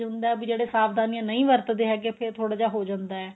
ਹੁੰਦਾ ਵੀ ਜਿਹੜੇ ਸਾਵਧਾਨੀਆਂ ਨਹੀਂ ਵਰਤਦੇ ਹੈਗੇ ਫੇਰ ਥੋੜਾ ਜਾ ਹੋ ਜਾਂਦਾ ਏ